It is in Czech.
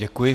Děkuji.